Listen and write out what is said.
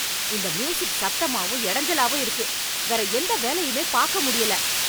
இந்த மியூசிக் சத்தமாவும் இடைஞ்சலாவும் இருக்கு. வேற எந்த வேலையுமே பார்க்க முடியல.